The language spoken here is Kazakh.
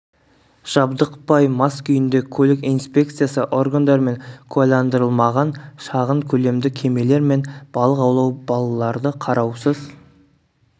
жабдықпай мас күйінде көлік инспекциясы органдарымен куәландырылмаған шағын көлемді кемелер мен балық аулау балаларды қараусыз